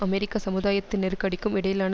அமெரிக்க சமுதாயத்தின் நெருக்கடிக்கும் இடையிலான